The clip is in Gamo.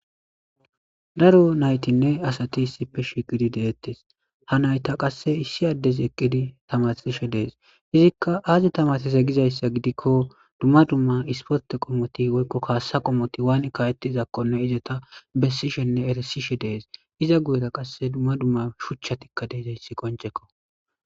Daro nayitanne asati issippe shiqqiddi de'etees ha nayita qasi issi adezi tamarisishshe dees.izzikka azzi tamarissizze gizayissa giddikko dumma dumma issiporte qommoti woyikko kasa wani ka'ettizakonni izeta besishshenne erisishshe dees iza guyera qase dumma dumma shuchchati de'izayiss qonccekko.